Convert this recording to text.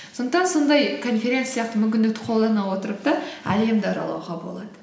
сондықтан сондай конференция сияқты мүмкіндікті қолдана отырып та әлемді аралауға болады